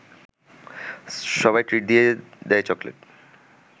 সবাই ট্রিট দিয়ে দেয় চকলেট